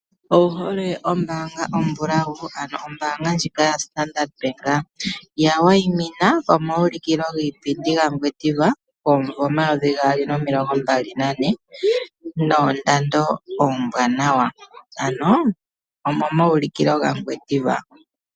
Owuhole ombaanga ya standard bank? Ya wayimina pomauliko giipindi gaNgwediva gomvo omayovi gaali nomilongo mbali nane. Noondando oombwanawa, ano omo mauliko giipindi ga Ngwediva.